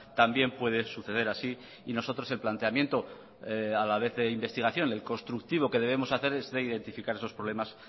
también puede suceder así y nosotros el planteamiento a la vez de investigación el constructivo que debemos hacer es de identificar esos problemas